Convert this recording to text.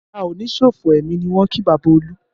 A o ní ṣòfò ẹmi ni wọ́n kí bàbá Olu